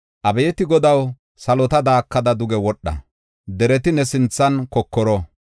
Abeeti Godaw, salota daakada duge wodha; dereti ne sinthan kokoro.